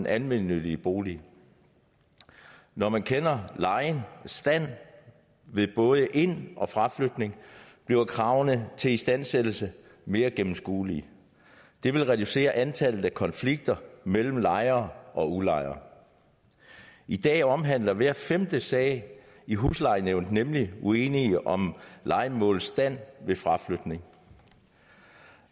almennyttige boliger når man kender lejen og stand ved både ind og fraflytning bliver kravene til istandsættelse mere gennemskuelige det vil reducere antallet af konflikter mellem lejere og udlejere i dag omhandler hver femte sag i huslejenævnet nemlig uenigheder om lejemålets stand ved fraflytning